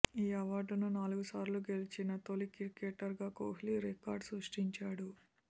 ఈ అవార్డును నాలుగుసార్లు గెలిచిన తొలి క్రికెటర్గా కోహ్లి రికార్డు సృష్టించాడు